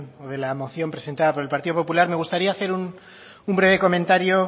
de la moción presentada por el partido popular me gustaría hacer un breve comentario